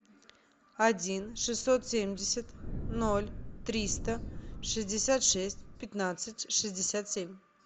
один шестьсот семьдесят ноль триста шестьдесят шесть пятнадцать шестьдесят семь